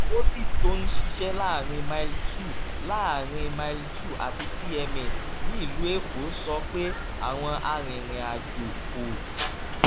moses tó ń ṣiṣẹ́ láàárín mile two láàárín mile two àti cms nílùú èkó sọ pé àwọn arìnrìn-àjò kò